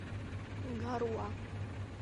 гаруа